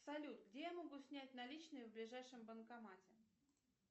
салют где я могу снять наличные в ближайшем банкомате